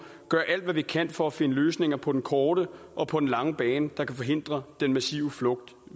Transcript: gøre alt hvad vi kan for at finde løsninger på den korte og på den lange bane der kan forhindre denne massive flugt